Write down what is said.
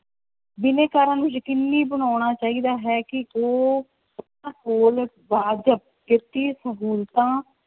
ਬਿਨੈਕਾਰਾਂ ਨੂੰ ਯਕੀਨੀ ਬਣਾਉਣਾ ਚਾਹੀਦਾ ਹੈ ਕਿ ਉਹ ਕੋਲ ਵਾਜ਼ਬ ਕਿਰਤੀ ਸਹੂਲਤਾਂ